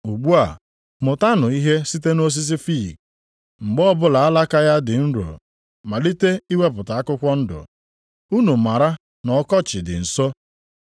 “Ugbu a, mụtanụ ihe site nʼosisi fiig. Mgbe ọbụla alaka ya dị nro malite iwepụta akwụkwọ ndụ, unu maara na ọkọchị dị nso.